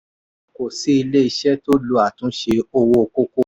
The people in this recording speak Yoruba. kò sí ilé iṣẹ́ tó lò àtúnṣe owó kókó.